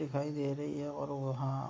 दिखाई दे रही है और वहाँ --